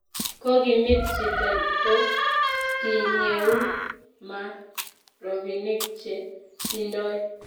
ko kimit chito ko kiyeuu ma robinik che tindoi